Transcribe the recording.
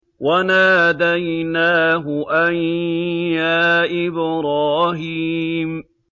وَنَادَيْنَاهُ أَن يَا إِبْرَاهِيمُ